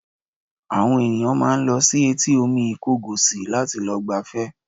Àwọn ènìyàn máa ń lọ sí etí omi Ìkọgòsì láti lọ gbafẹ́